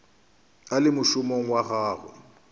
a le mošomong wa gagwe